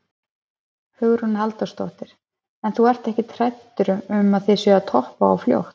Hugrún Halldórsdóttir: En þú ert ekkert hræddur um að þið séuð að toppa of fljótt?